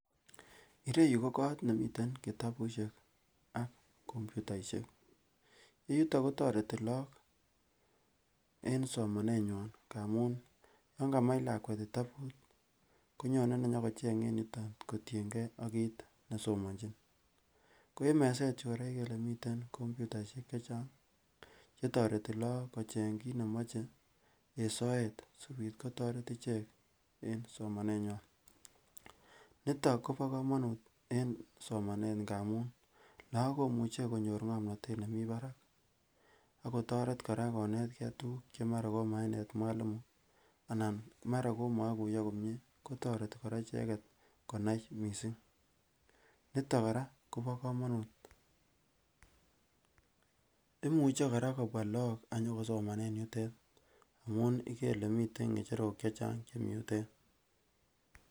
Ireyuu ko kot nemiten kitabushek ak computaishek, yuton kotoreti lok en somanenywan ngamun yon kamach lakwet kitabut konyone inyokocheng en yuton kotiyen geee ak kit nesomonchin. Ko en meset yuu koraa ikere ile miten komputaishek chechang chetoreti lok kocheng kit nemoche en soet sikobit kotoret ichek en somaneywan niton kobo komonut en somanet ngamun lok komuche konyor ngomnotet nemiii barak ak kotoret koraa konet tukuk chemaraa koma inet mwalimu anan maraa komoikuyo komiie kotoreti koraa icheket konai missing niton koraa kobo komonut, imuche koraa kobwa lok anyo kosomanen yutet amun ikere ile miten ngecherok chechang chemii yutet.